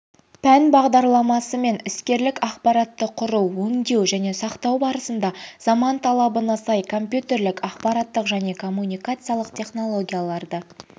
пән бағдарламасымен іскерлік ақпаратты құру өңдеу және сақтау барысында заман талабына сай компьютерлік ақпараттық және коммуникациялық технологияларды